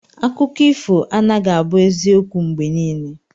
Akụkọ ifo anaghị abụ eziokwu mgbe niile.